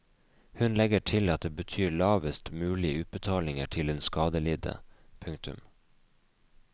Hun legger til at det betyr lavest mulig utbetalinger til den skadelidte. punktum